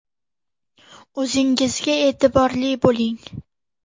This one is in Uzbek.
O‘zingizga e’tiborli bo‘ling!